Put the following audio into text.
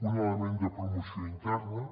un element de promoció interna